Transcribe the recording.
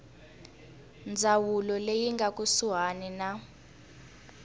ndzawulo leyi nga kusuhani na